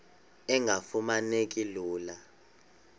engafuma neki lula